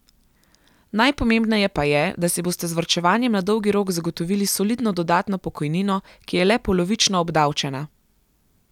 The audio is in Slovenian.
Najpomembneje pa je, da si boste z varčevanjem na dolgi rok zagotovili solidno dodatno pokojnino, ki je le polovično obdavčena.